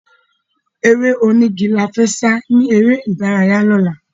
Eré onígi la fẹ́ sá ni eré ìdárayá lọ́la